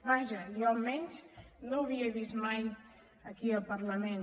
vaja jo almenys no ho havia vist mai aquí al parlament